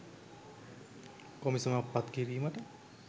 කොමිසමක් පත් කිරීමට